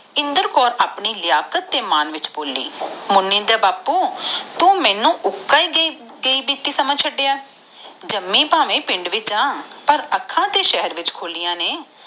ਇੰਦਰ ਕੌਰ ਆਪਣੇ ਮਨ ਚ ਬੋਲੀ ਮੋਨਿ ਦੇ ਬਾਪੂ ਤੂੰ ਮੇਨੂ ਉੱਕਾ ਏ ਸਮਝਿਆ ਚੜਿਆ ਜਾਮਿ ਪਾਵੇ ਪਿੰਡ ਵਿਚ ਆ ਪਰ ਅੱਖਾਂ ਤਾ ਸ਼ਹਿਰ ਵਿਚ ਖੋਲਿਆ ਨੇ